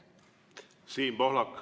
Siim Pohlak.